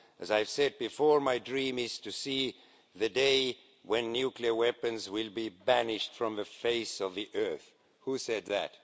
As I've said before, my dream is to see the day when nuclear weapons will be banished from the face of the earth, who said that?